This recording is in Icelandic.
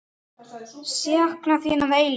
Sakna þín að eilífu.